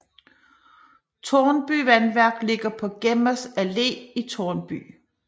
Tårnby Vandværk ligger på Gemmas Allé i Tårnby